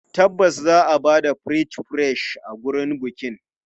Tabbas za a ba da French fries a wurin bikin.